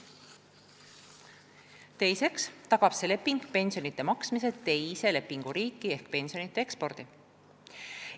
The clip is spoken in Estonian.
Teiseks tagab see leping pensionide maksmise teises lepinguriigis ehk pensionide ekspordi.